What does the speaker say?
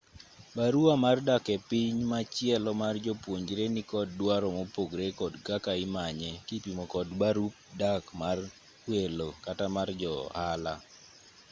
barua mar dak epiny machielo mar japuonjre nikod dwaro mopogre kod kaka imanye kipimo kod barup dak mar welo kata mar jo-ohala